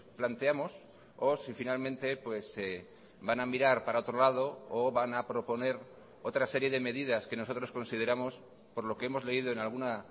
planteamos o si finalmente van a mirar para otro lado o van a proponer otra serie de medidas que nosotros consideramos por lo que hemos leído en alguna